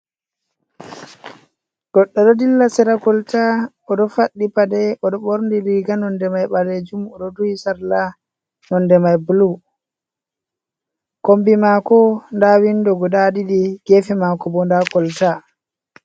Goddo ɗo dilla sera koltaya oɗo faɗi paɗe oɗo borni riga nonde mai ɓale jum. Oɗo duhi sarla nonde mai blu. Kombi mako nda windo guda ɗiɗi. Gefe mako bo nda koltaya.